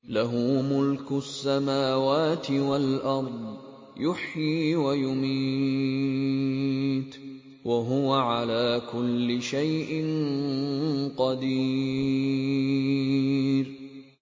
لَهُ مُلْكُ السَّمَاوَاتِ وَالْأَرْضِ ۖ يُحْيِي وَيُمِيتُ ۖ وَهُوَ عَلَىٰ كُلِّ شَيْءٍ قَدِيرٌ